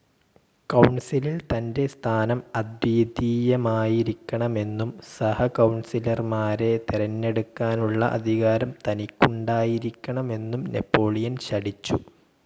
കൗൺസിലിൽ തന്റെ സ്ഥാനം അദ്വിതീയമായിരിക്കണമെന്നും സഹകൗണസിലർമാരെ തെരഞ്ഞെടുക്കാനുള്ള അധികാരം തനിക്കുണ്ടായിരിക്കണമെന്നും നാപ്പോളിയൻ ശഠിച്ചു.